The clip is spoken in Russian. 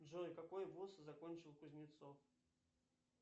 джой какой вуз закончил кузнецов